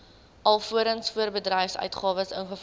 alvorens voorbedryfsuitgawes ingevolge